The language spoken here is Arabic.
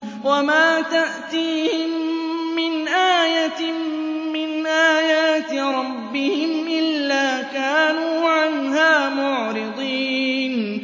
وَمَا تَأْتِيهِم مِّنْ آيَةٍ مِّنْ آيَاتِ رَبِّهِمْ إِلَّا كَانُوا عَنْهَا مُعْرِضِينَ